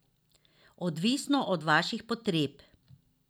Odvisno od vaših potreb.